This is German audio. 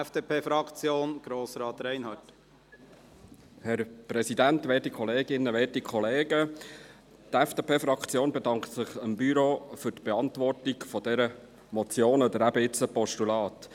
Die FDP-Fraktion bedankt sich beim Büro für die Beantwortung dieser Motion oder eben jetzt dieses Postulats.